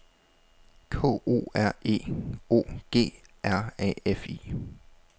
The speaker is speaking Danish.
K O R E O G R A F I